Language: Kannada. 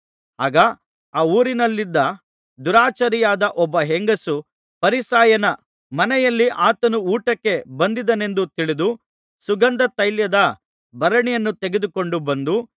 ಆಗ ಆ ಊರಿನಲ್ಲಿದ್ದ ದುರಾಚಾರಿಯಾದ ಒಬ್ಬ ಹೆಂಗಸು ಫರಿಸಾಯನ ಮನೆಯಲ್ಲಿ ಆತನು ಊಟಕ್ಕೆ ಬಂದಿದ್ದಾನೆಂದು ತಿಳಿದು ಸುಗಂಧತೈಲದ ಭರಣಿಯನ್ನು ತೆಗೆದುಕೊಂಡು ಬಂದು